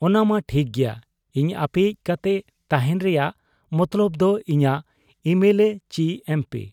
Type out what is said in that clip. ᱼᱼᱼᱚᱱᱟᱢᱟ ᱴᱷᱤᱠ ᱜᱮᱭᱟ ᱾ ᱤᱧ ᱟᱯᱮᱭᱤᱡ ᱠᱟᱛᱮ ᱛᱟᱦᱮᱸᱱ ᱨᱮᱭᱟᱜ ᱢᱚᱛᱞᱚᱵᱽ ᱫᱚ ᱤᱧᱟᱹᱜ ᱮᱢᱮᱞᱮ ᱪᱤ ᱮᱢᱯᱤ ᱾